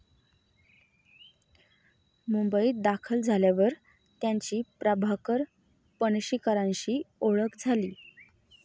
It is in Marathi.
मुंबईत दाखल झाल्यावर त्यांची प्रभाकर पणशीकरांशी ओळख झाली.